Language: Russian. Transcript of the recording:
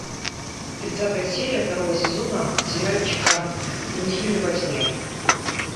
тридцатая серия второго сезона сериальчика брунгильда во тьме